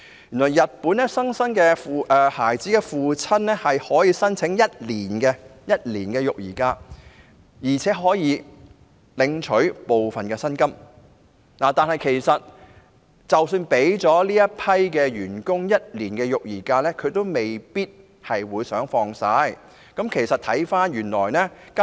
原來在日本，新生孩子的父親可以向公司申請1年的育兒假，而且可以領取部分的薪金，但其實即使日本的僱員享有這種福利，他們也未必想全數放取有關假期。